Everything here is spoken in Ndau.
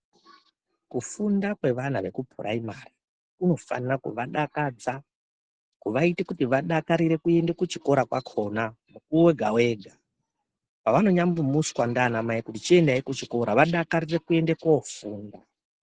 Ku funda kwe vana veku puraimari kuno fanira kuva dakadza kuva ite kuti vadakarire kuende ku chikoro kwakona mukuwo wega wega pavano nyambo muswa nana mai chiendayi ku chikora va dakarire kuende ko funda.